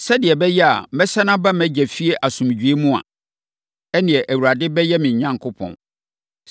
sɛdeɛ ɛbɛyɛ a mɛsane aba mʼagya fie asomdwoeɛ mu a, ɛnneɛ, Awurade bɛyɛ me Onyankopɔn.